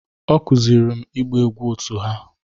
Ọ kụziiri m ịgba egwú otu ha